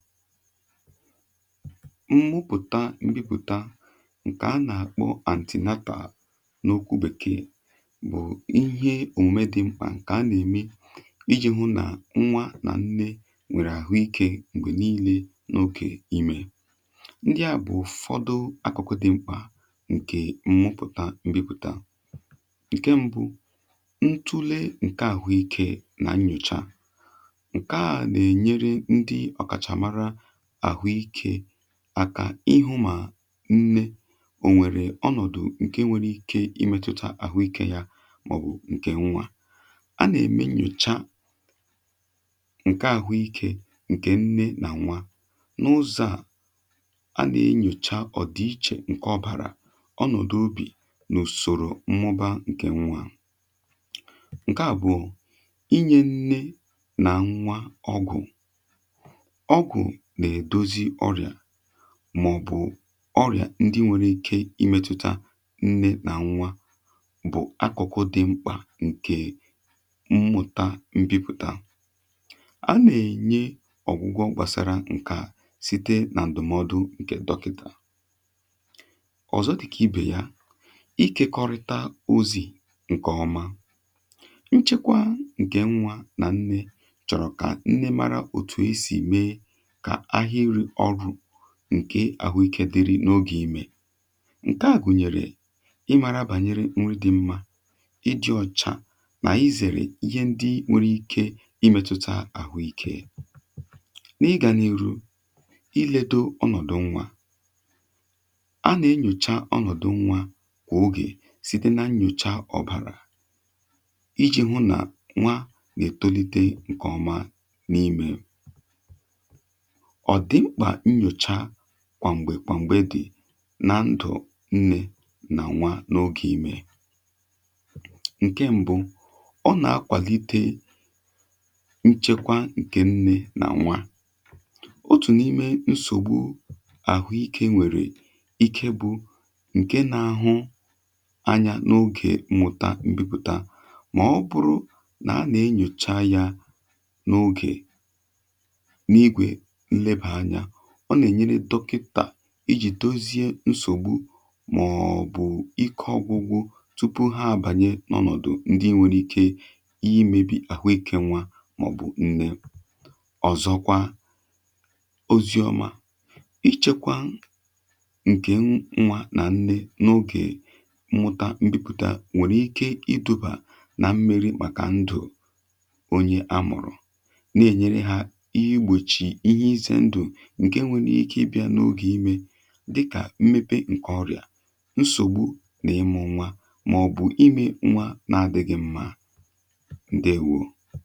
Mmụpụ̀ta mbịpụ̀ta ǹkè a nà-àkpọ antinata n’okwu bèkee bụ̀ ihe omume dị mkpà ǹkè a nà-ème iji̇ hụ nà nwa nà nne nwèrè àhụ ikė m̀gbè niile n’okè imè, ndị à bụ̀ ụ̀fọdụ akụkụ dị mkpà ǹkè mmụpụ̀ta mbịpụ̀ta. Ṅke ṁbụ̇ ntùle ǹkè àhụ ikė nà nyocha, nke a na enye ndị ọkacha mara ahụ ịke akà ịhụ̇ mà nne ò nwèrè ọnọ̀dụ̀ ǹkè nwere ike imètụ̇tà àhụ ikė ya màọ̀bụ̀ ǹkè nwa. a nà-ème nyòcha ǹkè àhụ ikė ǹkè nne nà nwa n’ụzọ̇ a, anà-enyocha ọ̀dịichè ǹkè ọbàrà ọnọ̀dụ̀ obì n’ùsòrò mmụba ǹkè nwa. ǹkè àbụ̀ọ inye nne nà nwa ọgwụ, ọgwụ na edọzị oria, màọ̀bụ̀ ọrịà ndị nwere ike imėtuta nne nà nwa bụ akụ̀kụ̀ dị̇ mkpà ǹkè mmụ̀ta mbipụ̀ta, À nà-ènye ọ̀gwụgwọ gbàsara ǹkè site nà ǹdụ̀mọdụ ǹkè dọkịtà. ọ̀zọ dịkà ibè ya ikekọrịta ozi̇ ǹkè ọma. nchekwa ǹkè nwa nà nne chọ̀rọ̀ kà nne mara òtù e sì mee ǹke àhụikė dịrị n’ogè imė, ǹke à gùnyèrè ị màrà bànyere nrị dị̇ mmȧ iji̇ ọ̀chà nà izèrè ihe ndị nwėrė ikė imėtụta àhụikė. n’ịgȧ n’iru iledo ọnọ̀dụ̀ nwa, a nà-enyòcha ọnọ̀dụ̀ nwa kwà ogè sì dị na nnyòcha ọ̀bàrà iji̇ hụ nà nwa nà-ètolite ǹkọ̀ma n’imė. Ọdi mpka na nyọchà kwàm̀gbè kwàm̀gbè dị̀ na ndụ̀ nnė nà nwa n’ogè imè. ǹke mbụ ọ nà-akwàlite nchekwa ǹkè nne nà nwa, otù n’ime nsògbu àhụikė nwèrè ike bụ̇ ǹke nȧ-ȧhụ anya n’ogè mmụ̀ta mbìpụ̀ta mà ọ bụrụ nà a nà-enyòcha ya n’ogè, na ịgwe nnebanya, ọ nà-ènyere dọkịtà ijì dozie nsògbu màọ̀bụ̀ ịkọ̇ ọgwụgwụ tupu ha àbànye nọ̀ nọ̀dụ ndị nwėrė ike ihe imėbì àhụike nwa màọ̀bụ̀ nne. ọ̀zọkwa oziọma, ichekwa ǹkè nwa nà nne n’ogè mmụta mmepụ̀ta nwèrè ike iduba nà mmere màkà ndụ̀ onye a mụ̀rụ̀ na-ènyere ha ihe gbòchì ihe ize dịkà mmepe nkè ọrịà nsogbu n’ịmụ nwa maọ̀bụ̀ imė nwa n’adịghị mmȧ ǹdewo.